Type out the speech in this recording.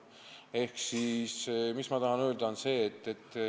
Ehk mis ma tahan öelda?